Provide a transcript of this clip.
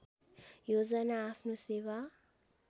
योजना आफ्नो सेवा